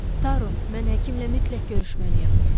Taru, mən həkimlə mütləq görüşməliyəm.